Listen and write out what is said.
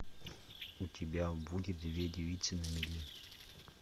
у тебя будет две девицы на мели